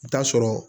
I bi taa sɔrɔ